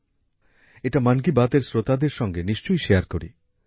তাই ভাবলাম এটা মান কি বাত এর শ্রোতাদের সাথে নিশ্চয়ই ভাগ করি